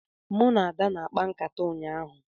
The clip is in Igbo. Mụ na Ada na-akpa nkata ụnyahụ